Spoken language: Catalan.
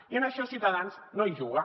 i en això ciutadans no hi juga